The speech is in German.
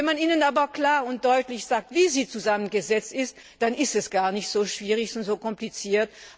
Wenn man ihnen aber klar und deutlich sagt, wie sie zusammengesetzt ist, dann ist es gar nicht so schwierig und so kompliziert.